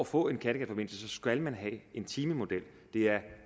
få en kattegatforbindelse skal man have en timemodel de er